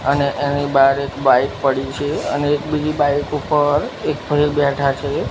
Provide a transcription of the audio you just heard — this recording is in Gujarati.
અને એની બાર એક બાઈક પડી છે અને એક બીજી બાઈક ઉપર એક ભઈ બેઠા છે.